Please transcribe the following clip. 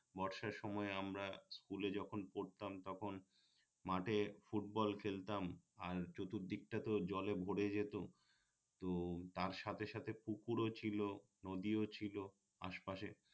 বর্ষার সময় আমরা স্কুলে যখন পড়তাম তখন মাঠে ফুটবল খেলতাম আর চতুর্দিকটা তো জলে ভোরে যেত তো তার সাথে সাথে পুকুরও ছিলো নদীও ছিলো আশপাশে